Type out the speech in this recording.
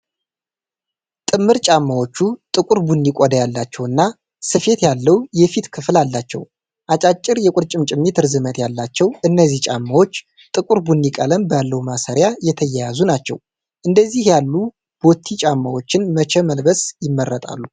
ጥምር ጫማዎቹ ጥቁር ቡኒ ቆዳ ያላቸውና ስፌት ያለው የፊት ክፍል አላቸው። አጫጭር የቁርጭምጭሚት ርዝመት ያላቸው እነዚህ ጫማዎች ጥቁር ቡኒ ቀለም ባለው ማሰሪያ የተያያዙ ናቸው። እንደነዚህ ያሉ ቦቲ ጫማዎችን መቼ መልበስ ይመርጣሉ?